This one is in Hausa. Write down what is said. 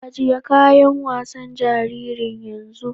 Ajiye kayan wasan jaririn yanzu!